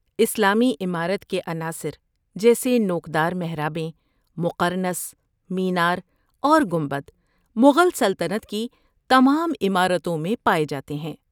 اسلامی عمارت کے عناصر جیسے نوک دار محرابیں، مقرنص، مینار، اور گنبد مغل سلطنت کی تمام عمارتوں میں پائے جاتے ہیں۔